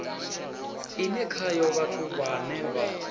ine khayo vhathu vhane vha